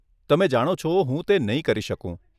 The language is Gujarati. તમે જાણો છો, હું તે નહીં કરી શકું.